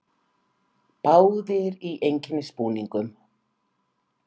Báðir í einkennisbúningum.